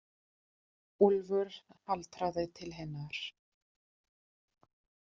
Úlfur haltraði til hennar.